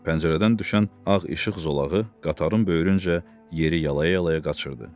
Pəncərədən düşən ağ işıq zolağı qatarın böyrüncə yeri yalaya-yalaya qaçırdı.